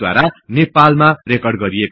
र द्धारा ठाउँमा रिकर्ड गरिएको हो